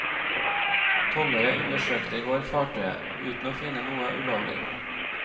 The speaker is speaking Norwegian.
Tollere undersøkte i går fartøyet, uten å finne noe ulovlig.